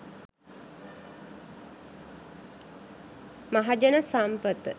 mahajana sampatha